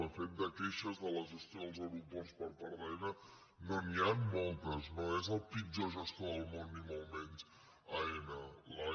de fet de queixes de la gestió dels aeroports per part d’aena no n’hi han moltes no és el pitjor gestor del món ni molt menys aena